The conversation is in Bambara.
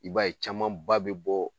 I b'a ye camanba bɛ bɔ